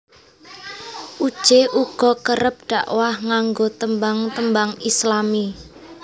Uje uga kerep dakwah nganggo tembang tembang Islami